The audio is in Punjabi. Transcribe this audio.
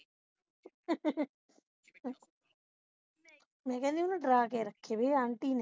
ਮੈਂ ਕਹਿੰਦੀ ਸੀ ਮੈਨੂੰ ਡਰਾ ਕੇ ਰੱਖਦੀ auntie ਨੇ